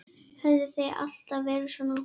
Höfðu þau alltaf verið svona?